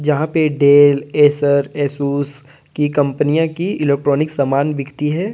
यह पर Dell Acer Asus की कंपनिया की इलेक्ट्रॉनिक समान बिकती है।